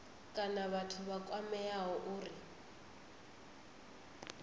kana vhathu vha kwameaho uri